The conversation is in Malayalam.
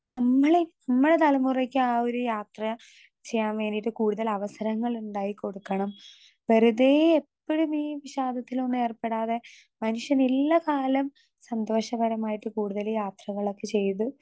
സ്പീക്കർ 2 നമ്മളെ നമ്മളെ തലമുറേക്കാ ഒര് യാത്ര ചെയ്യാൻ വേണ്ടീട്ട് കൂടുതല് അവസരങ്ങളിണ്ടാക്കി കൊടുക്കണം വെറുതേ എപ്പഴും ഈ വിഷാദത്തിലൊന്നും ഏർപ്പെടാതെ മനുഷ്യൻ ഇള്ള കാലം സന്തോഷകരമായിട്ട് കൂടുതല് യാത്രകളൊക്കെ ചെയ്ത്.